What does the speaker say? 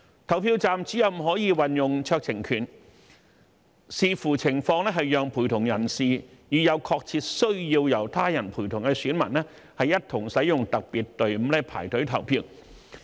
投票站主任可運用酌情權，視乎情況讓陪同人士與有確切需要由他人陪同的選民，一同使用特別隊伍排隊投票。